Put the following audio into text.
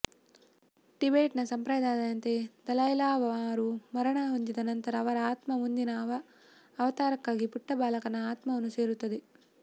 ಟಿಬೇಟ್ನ ಸಂಪ್ರದಾಯದಂತೆ ದಲೈಲಾಮಾರು ಮರಣ ಹೊಂದಿದ ನಂತರ ಅವರ ಆತ್ಮ ಮುಂದಿನ ಅವತಾರಕ್ಕಾಗಿ ಪುಟ್ಟ ಬಾಲಕನ ಆತ್ಮವನ್ನು ಸೇರುತ್ತದೆ